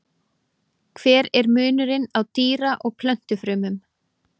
Hver er munurinn á dýra- og plöntufrumum?